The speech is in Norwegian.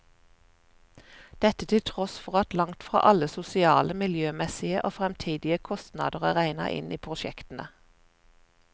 Dette til tross for at langt fra alle sosiale, miljømessige og fremtidige kostnader er regnet inn i prosjektene.